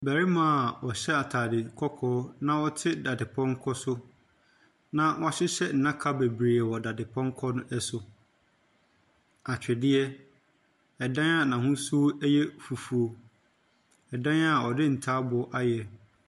Ɔbɛrimaa ɔhyɛ ataade kɔkɔɔ na ɔte daade pɔnkɔ so, na w'ahyehyɛ ndaka beberee wɔ daade pɔnkɔ no so. Atwedeɛ, edan a n'ahosuo yɛ fufuw, ɛdan a ɔde ntaabu ayɛ.